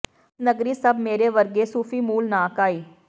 ਇਸ ਨਗਰੀ ਸਭ ਮੇਰੇ ਵਰਗੇ ਸੂਫੀ ਮੂਲ ਨਾ ਕਾਈ